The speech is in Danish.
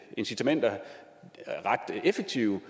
incitamenter ret effektive